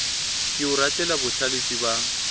ke o ratela bohlalefi ba